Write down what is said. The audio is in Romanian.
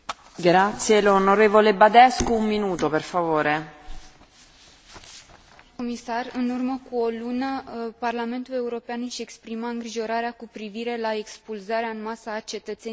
În urmă cu o lună, Parlamentul European își exprima îngrijorarea cu privire la expulzarea în masă a cetățenilor de etnie romă și respingea orice corelație între criminalitate și imigrare.